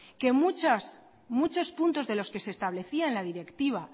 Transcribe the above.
que muchas muchos puntos de los que se establecía en la directiva